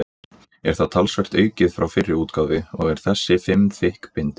Er það talsvert aukið frá fyrri útgáfu og er þessi fimm þykk bindi.